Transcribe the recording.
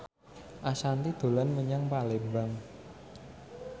Ashanti dolan menyang Palembang